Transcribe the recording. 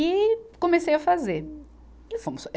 E comecei a fazer. E fomos